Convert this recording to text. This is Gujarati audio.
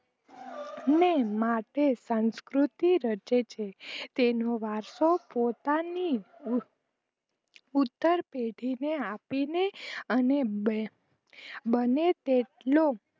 મે માથે સાંસ્કૃતિ રચે છે તેનો વારશો પોતાની પુત્તર પેઢી ને આપીને અને બને તેટલો